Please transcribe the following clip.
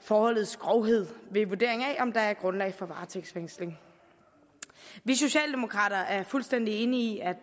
forholdets grovhed ved vurdering af om der er grundlag for varetægtsfængsling vi socialdemokrater er fuldstændig enige i at